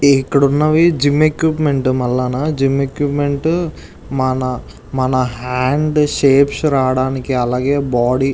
ఇక్కడ ఉన్నవి gym equipment మల్లన జిమ్ ఎక్విప్మెంట్ మన మన హాండ్స్ షేప్స్ రాడానికి అలాగే బాడీ --